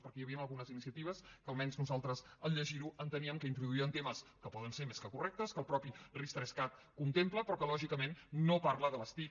perquè hi havien algunes iniciatives que almenys nosaltres al llegir ho enteníem que introduïen temes que poden ser més que correctes que el mateix ris3cat contempla però que lògicament no parlen de les tic